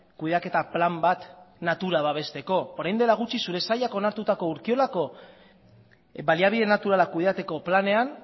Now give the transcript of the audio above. kudeaketa plan bat natura babesteko orain dela gutxi zure sailak onartutako urkiolako baliabide naturalak kudeateko planean